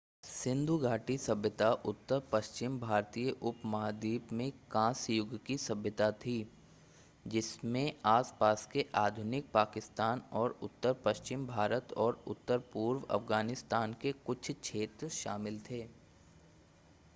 सिंधु घाटी सभ्यता उत्तर-पश्चिम भारतीय उपमहाद्वीप में कांस्य युग की सभ्यता थी जिसमें आस-पास के आधुनिक पाकिस्तान और उत्तर पश्चिम भारत और उत्तर-पूर्व अफ़गानिस्तान के कुछ क्षेत्र शामिल थे